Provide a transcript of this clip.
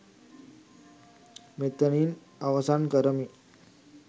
මෙතනින් අවසන් කරමි.